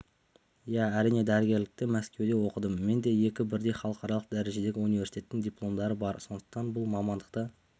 иә әрине дәрігерлікті мәскеуде оқыдым менде екі бірдей халықаралық дәрежедегі университеттің дипломдары бар сондықтан бұл мамандықты